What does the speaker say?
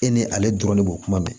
E ni ale dɔrɔn de b'o kuma mɛn